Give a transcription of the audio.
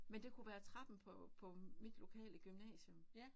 Men det kunne være trappen på på mit lokale gymnasium